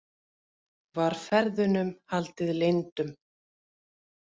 Var ferðunum haldið leyndum